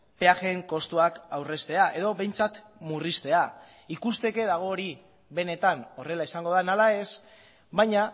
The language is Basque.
peajeen kostuak aurreztea edo behintzat murriztea ikusteke dago hori benetan horrela izango den ala ez baina